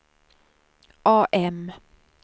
AM